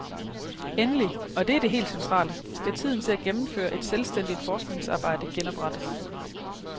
Endelig, og det er det helt centrale, skal tiden til at gennemføre et selvstændigt forskningsarbejde genoprettes.